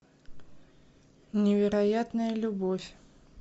невероятная любовь